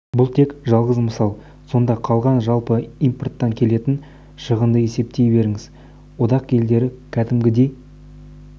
бұл тек жалғыз мысал сонда қалған жалпы импорттан келетін шығынды есептей беріңіз одақ елдері кәдімгідей